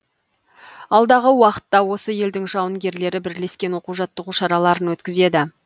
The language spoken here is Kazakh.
алдағы уақытта осы елдің жауынгерлері бірлескен оқу жаттығу шараларын өткізеді